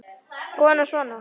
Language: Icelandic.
Kona: Svona?